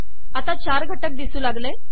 आता चार घटक दिसू लागले